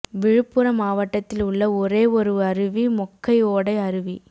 விழுப்புரம் மாவட்டத்தில் உள்ள ஒரே ஒரு அருவி மொக்கை ஓடை அருவி